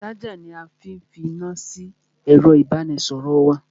Ṣájà ni a fi fi iná sí ẹ̀ro ìbánisọ̀rọ̀ wa.